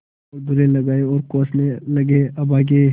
और दुर्रे लगाये और कोसने लगेअभागे